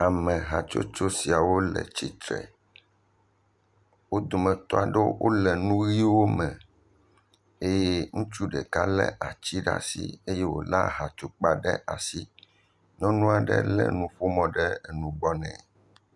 Amehatsotso siawo le tsitre, wo dometɔ aɖewo wole nu ʋiwo me eye ŋutsu ɖeka lé aha tukpa ɖe asi eye wòlé ati ɖe asi, nyɔnu aɖe lé mɔƒonu ɖe nugbɔ nɛ.